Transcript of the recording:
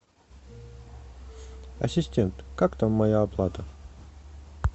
ассистент как там моя оплата